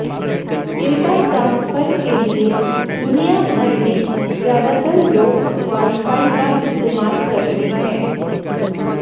data transfer के लिए दुनिया भर में ज्यादातर लोग वाईफाई का इस्तेमाल करते हैं